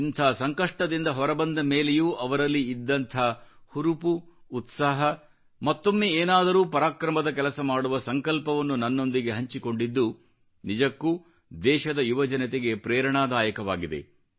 ಇಂಥ ಸಂಕಷ್ಟದಿಂದ ಹೊರ ಬಂದ ಮೇಲೆಯೂ ಅವರಲ್ಲಿ ಇದ್ದಂಥ ಹುರುಪು ಉತ್ಸಾಹ ಮತ್ತೊಮ್ಮೆ ಏನಾದರೂ ಪರಾಕ್ರಮದ ಕೆಲಸ ಮಾಡುವ ಸಂಕಲ್ಪವನ್ನು ನನ್ನೊಂದಿಗೆ ಹಂಚಿಕೊಂಡಿದ್ದು ನಿಜಕ್ಕೂ ದೇಶದ ಯುವ ಜನತೆಗೆ ಪ್ರೇರಣಾದಾಯಕವಾಗಿದೆ